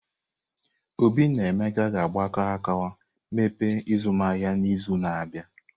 Obi na Emeka ga-agbakọ aka imepe azụmahịa n'izu na-abịa.